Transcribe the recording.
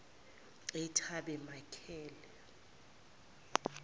etabemakela